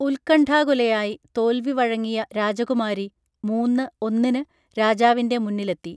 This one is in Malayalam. ഉത്ക്കണ്ഠാകുലയായി തോൽവി വഴങ്ങിയ രാജകുമാരി മൂന്ന് ഒന്നിന് രാജാവിന്റെ മുന്നിലെത്തി